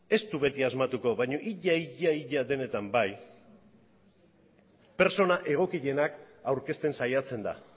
ez du beti asmatuko baina ia ia denetan bai pertsona egokienak aurkezten saiatzen da